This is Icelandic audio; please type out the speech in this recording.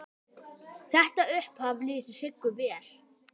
Þetta upphaf lýsir Siggu vel.